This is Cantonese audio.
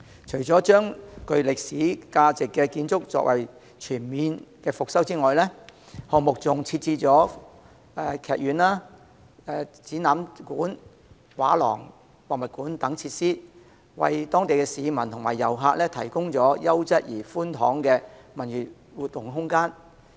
除了把具歷史價值的建築全面復修外，項目還設置劇院、展覽館、畫廊、博物館等設施，為當地市民及遊客提供優質而寬敞的文娛活動空間。